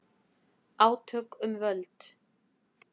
Átök um völd